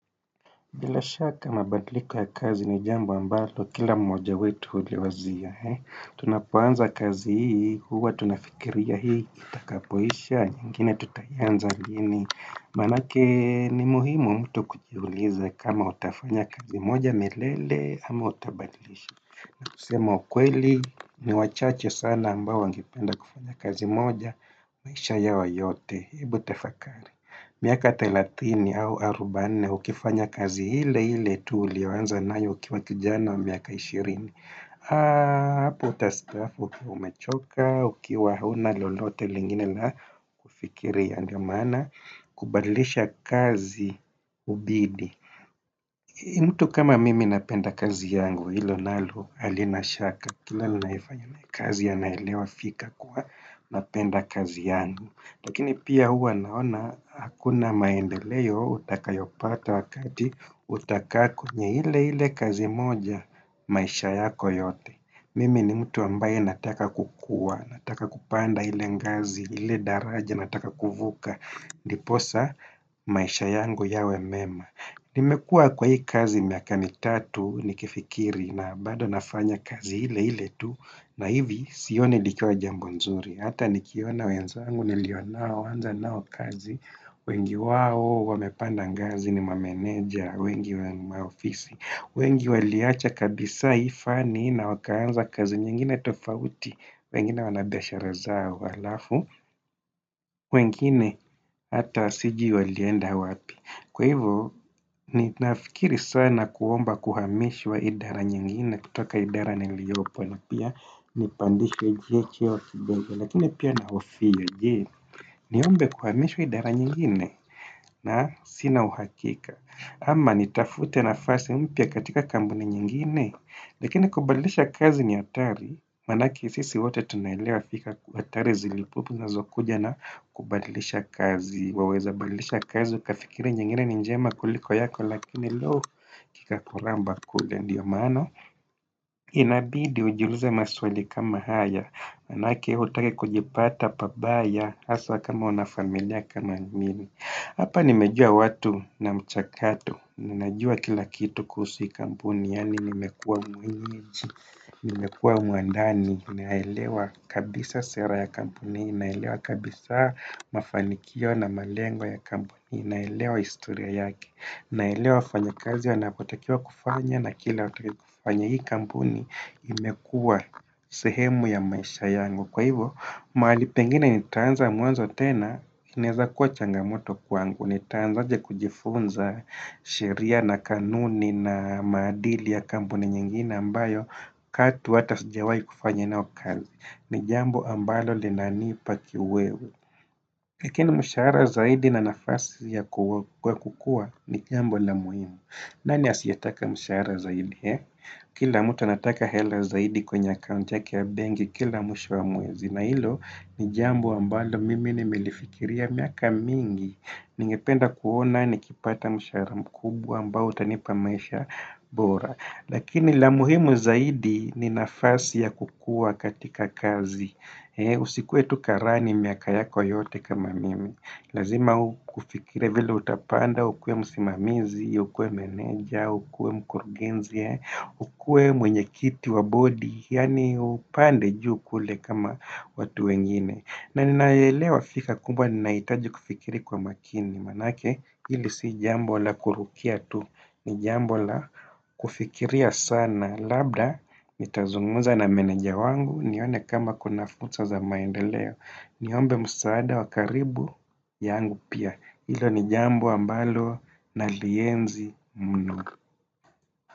Bila shaka mabadliko ya kazi ni jambo ambalo, kila moja wetu huli wazia. Tunapoanza kazi hii, huwa tunafikiria hii, itakapoisha, nyingine tutaianza lini. Manake ni muhimu mtu kujiuliza kama utafanya kazi moja milele ama utabadilisha na kusema ukweli ni wachache sana ambao wangependa kufanya kazi moja maisha yao yote ebu tafakari miaka thelathini au arobaini, ukifanya kazi ile ile tu ulioanza nayo ukiwa kijana wa miaka ishirini hapo utastaafu ukiwa umechoka, ukiwa huna lolote lingine la kufikiria ndiyo maana, kubadilisha kazi hubidi mtu kama mimi napenda kazi yangu hilo nalo halina shaka, kila naifanya kazi yanaelewa fika kuwa napenda kazi yangu lakini pia huwa naona hakuna maendeleo utakayopata wakati utakaa kwenye ile ile kazi moja maisha yako yote. Mimi ni mtu ambaye nataka kukua, nataka kupanda ile ngazi, ile daraja, nataka kuvuka, ndiposa maisha yangu yawe mema. Nimekuwa kwa hii kazi miaka mitatu nikifikiri na bado nafanya kazi ile ile tu na hivi sio likiwa jambo nzuri. Hata nikiona wenzangu nilionao kuanza nao kazi wengi wao wamepanda ngazi ni mameneja, wengi wengi maofisi wengi waliacha kabisa ifani na wakaanza kazi nyingine tofauti wengine wanabiashara zao alafu wengine hata sijui walienda wapi kwa hivyo, ninafikiri sana kuomba kuhamishwa idara nyingine kutoka idara niliopo na pia nipandishwa hii cheo kibenge lakini pia na ofi ya je niombe kuhamishwa idara nyingine na sina uhakika ama nitafute nafasi mpya katika kampuni nyingine lakini kubadilisha kazi ni hatari manake sisi wote tunaelewa fika hatari ziliopo na zokuja na kubadilisha kazi waweza balilisha kazi ukafikire nyingine ni njema kuliko yako lakini loo ya kuramba kule ndiyo maana inabidi ujiulize maswali kama hayo manake hutaki kujipata pabaya haswa kama unafamilia kama mimi Hapa nimejua watu na mchakatu ninajua kila kitu kuhusu hii kampuni yaani nimekuwa mwenyeji nimekuwa mwandani naelewa kabisa sera ya kampuni naelewa kabisa mafanikio na malengo ya kampuni naelewa historia yake naelewa fanya kazi wanapotakiwa kufanya na kila utake kufanya hii kampuni imekuwa sehemu ya maisha yangu kwa hivyo, mahali pengine nitaanza mwanzo tena inaweza kuwa changamoto kwangu. Nitaanza aje kujifunza sheria na kanuni na maadili ya kampuni nyingine ambayo katu hata sijawai kufanya nao kazi ni jambo ambalo linanipa kiwewe lakini mshahara zaidi na nafasi ya kukua ni jambo la muhimu Nani asiyetaka mshahara zaidi? Kila mtu anataka hela zaidi kwenye akaunti yake ya benki kila mwisho wa mwezi. Na hilo ni jambo ambalo mimi nimelifikiria miaka mingi. Ningependa kuona nikipata mshahara mkubwa ambao utanipa maisha bora. Lakini la muhimu zaidi ni nafasi ya kukua katika kazi. Usikuwe tu karani miaka yako yote kama mimi. Lazima ufikirie vile utapanda ukuwe msimamizi, ukuwe meneja, ukuwe mkurugenzi, ukuwe mwenye kiti wa bodi yaani upande juu kule kama watu wengine na ninaelewa fikra kubwa nahitaji kufikiri kwa makini manake hili si jambo la kurukia tu ni jambo la kufikiria sana labda nitazungumza na meneja yangu nione kama kuna fursa za maendeleo. Niombe msaada wa karibu yangu pia hilo ni jambo ambalo nalienzi mnu.